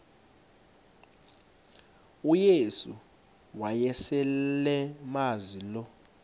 uyesu wayeselemazi lo